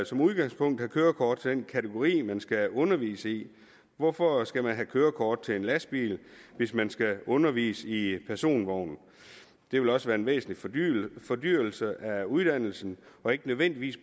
som udgangspunkt have kørekort til den kategori man skal undervise i hvorfor skal man have kørekort til en lastbil hvis man skal undervise i i en personvogn det vil også være en væsentlig fordyrelse af uddannelsen og ikke nødvendigvis